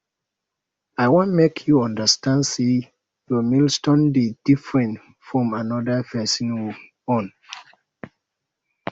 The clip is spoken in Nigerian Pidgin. i wan make you understand sey your milestone dey different fromm anoda pesin own